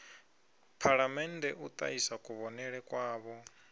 phalamennde u ṱahisa kuvhonele kwavho